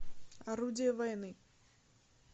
орудие войны